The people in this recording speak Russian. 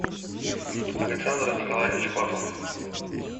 александр николаевич бахов